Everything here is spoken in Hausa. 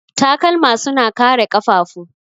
Takalma suna kare ƙafafu.